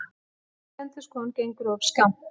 Slík endurskoðun gengur of skammt.